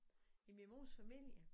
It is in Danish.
I min mors familie